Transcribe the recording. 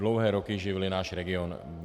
Dlouhé roky živili náš region.